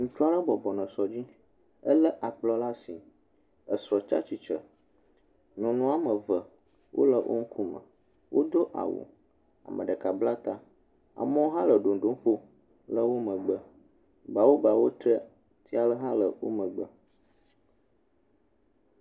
Ŋutsu aɖe bɔbɔnɔ sɔ dzi elé akplɔ ɖe asi esɔ tsi atsitre, nyɔnu woame eve wole eƒe ŋkume, ame ɖeka bla ta, ame aɖewo le ɖoŋɖo ƒom le wo megbe bawobawo, tre fia aɖe hã le wo megbe.